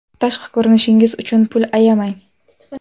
Tashqi ko‘rinishingiz uchun pul ayamang.